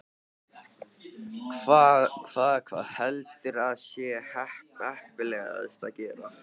Hvað, hvað heldurðu að sé heppilegast að gera?